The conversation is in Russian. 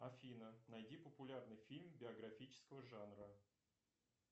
афина найди популярный фильм биографического жанра